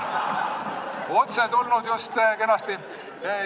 Otse tulnud just kenasti.